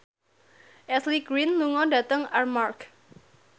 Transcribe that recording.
Ashley Greene lunga dhateng Armargh